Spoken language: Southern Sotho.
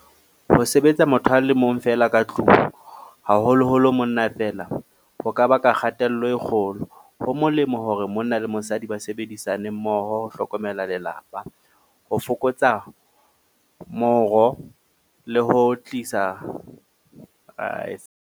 Ho sebetsa motho a le mong feela ka tlung, haholoholo monna feela, ho ka baka kgatello e kgolo. Ho molemo hore monna le mosadi ba sebedisanemmoho ho hlokomela lelapa, ho fokotsa .